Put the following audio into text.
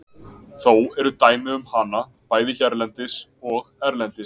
Þó eru dæmi um hana, bæði hérlendis og erlendis.